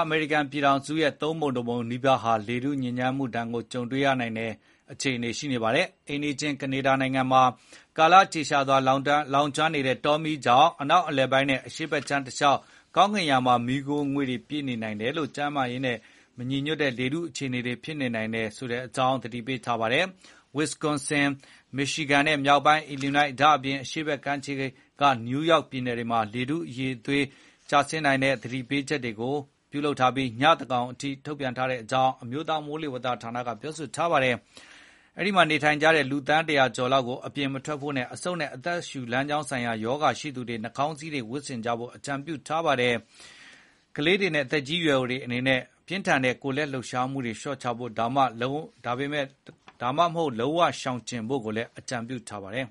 အမေရိကန်ပြည်ထောင်စုရဲ့ သုံးပုံတပုံနီးပါးဟာ လေထုအရည်အသွေး ညံ့ဖျင်းတဲ့ဒဏ်ကို ကြာသပတေးနေ့မှာ ကြုံတွေ့ရဖွယ် ရှိပါတယ်။ အိမ်နီးချင်း ကနေဒါနိုင်ငံမှာ ကာလကြာရှည် လောင်ကျွမ်းနေတဲ့ တောမီးကြောင့် အနောက်အလယ်ပိုင်းနဲ့ အရှေ့ဘက်ခြမ်းတလျှောက် ကောင်းကင်ယံမှာ မီးခိုးငွေ့တွေပြည့်နေလို့ ကျန်းမာရေးနဲ့ မညီညွတ်တဲ့ လေထုအခြေအနေ ဖြစ်နေပြီး တချို့နေရာတွေမှာဆိုရင် အန္တရာယ်ရှိတဲ့အခြေအနေ ဖြစ်နေတာပါ။ Wisconsin ၊ Michigan နဲ့ မြောက်ပိုင်း Illinois ၊ တခါ အရှေ့ဘက်ကမ်းခြေ နယူးယောက်ပြည်နယ်တွေမှာ လေထုအရည်အသွေး သတိပေးချက်တွေကို ညသန်းခေါင်အထိ ထုန်ပြန်ထားကြောင်း အမျိုးသားမိုးလေဝသဌာနက ပြောပါတယ်။ အဲဒီမှာ နေထိုင်ကြသူ လူ သန်း ၁၀၀ ကျော်ကို အပြင်ထွက်တာတွေ မလုပ်ဖို့နဲ့ အဆုတ်နဲ့ အသက်ရှူလမ်းကြောင်းဆိုင်ရာရောဂါတွေ ခံစားရရင် နှာခေါင်းစည်းတွေ ဝတ်ဆင်ကြဖို့ အကြုံပြုထားပါတယ်။ ကလေးတွေနဲ့ သက်ကြီးရွယ်အိုတွေအနေနဲ့ ပြင်းထန်တဲ့ လှုပ်ရှားမှုတွေလျှော့ချတာ ဒါမှမဟုတ် လုံးဝရှောင်ကြဉ်ဖို့လည်း အကြံပြုထားပါတယ်